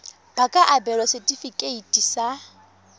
ba ka abelwa setefikeiti sa